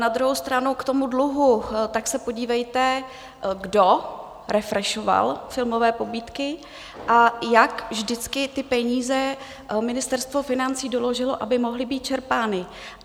Na druhou stranu k tomu dluhu, tak se podívejte, kdo refreshoval filmové pobídky a jak vždycky ty peníze Ministerstvo financí doložilo, aby mohly být čerpány.